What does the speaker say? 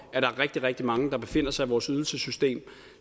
at der er rigtig rigtig mange der befinder sig i vores ydelsessystem